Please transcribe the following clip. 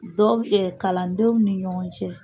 Dɔnku kalandenw ni ɲɔgɔn cɛ.